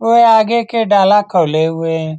उवे आगे के डाला खोले हुए है।